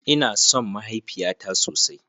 Ina son mahaifiyata sosai.